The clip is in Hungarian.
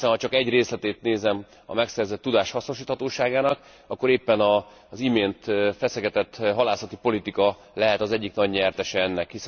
Hiszen ha csak egy részletét nézem a megszerzett tudás hasznosíthatóságának, akkor éppen az imént feszegetett halászati politika lehet az egyik nagy nyertese ennek.